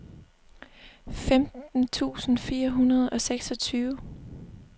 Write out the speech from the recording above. femten tusind fire hundrede og seksogtyve